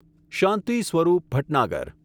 Shanti Swarup Bhatnagar